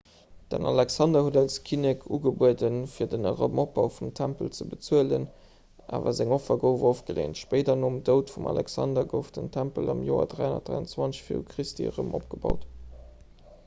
den alexander huet als kinnek ugebueden fir den erëmopbau vum tempel ze bezuelen awer seng offer gouf ofgeleent spéider nom doud vum alexander gouf den tempel am joer 323 v chr erëm opgebaut